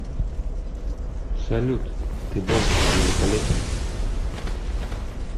салют ты был великолепен